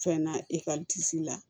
Fɛn na ekɔlisi la